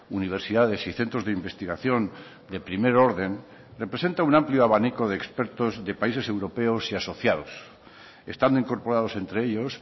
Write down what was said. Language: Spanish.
universidades y centros de investigación de primer orden representa un amplio abanico de expertos de países europeos y asociados están incorporados entre ellos